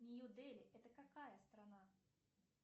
нью дели это какая страна